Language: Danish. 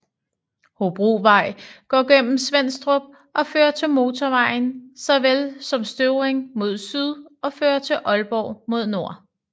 Hobrovej går gennem Svenstrup og fører til motorvejen såvel som Støvring mod syd og fører til Aalborg mod nord